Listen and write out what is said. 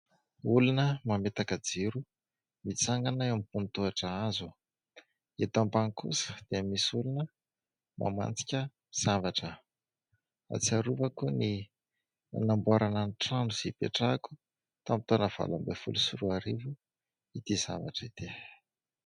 Olona mametaka jiro mitsangana eo ambony tohatra hazo. Eto ambany kosa dia misy olona mamantsika zavatra. Ahatsiarovako ny fanamboarana ny trano izay ipetrahako tamin'ny taona valo ambin'ny folo sy roa arivo ity zavatra ity.